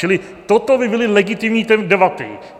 Čili toto by byly legitimní debaty.